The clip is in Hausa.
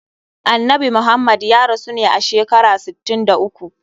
Annabi Muhammad ya rasu ne a shekara sittin da uku.